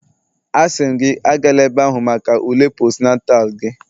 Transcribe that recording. Asị m gị, Agala ebe ahụ maka ule postnatal gị